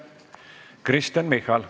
Kristen Michal.